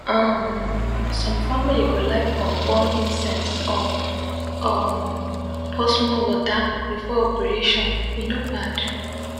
um some family go like burn burn incense or um pour small water before operation e no bad.